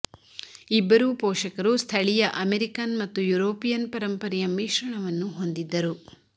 ಇಬ್ಬರೂ ಪೋಷಕರು ಸ್ಥಳೀಯ ಅಮೇರಿಕನ್ ಮತ್ತು ಯುರೋಪಿಯನ್ ಪರಂಪರೆಯ ಮಿಶ್ರಣವನ್ನು ಹೊಂದಿದ್ದರು